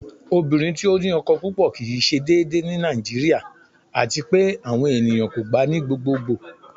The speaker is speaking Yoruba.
Ọ̀bìnrin tí ó ní ọkọ́ púpọ̀ kí í ṣé dèédèè ní Nàìjíríà, àti pẹ̀ àwọn ènìyàn kò gbà ní gbogbogbo.